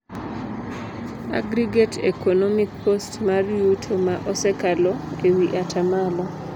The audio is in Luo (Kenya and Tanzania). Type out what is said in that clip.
Aggregate economic cost mar yuto ma osekalo ewii ataa malo.